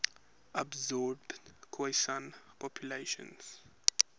absorbed khoisan populations